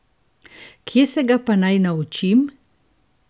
Kje se ga pa naj naučim?